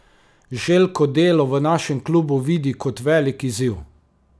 Željko delo v našem klubu vidi kot velik izziv.